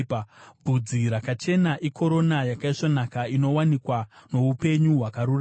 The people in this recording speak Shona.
Bvudzi rakachena ikorona yakaisvonaka; inowanikwa noupenyu hwakarurama.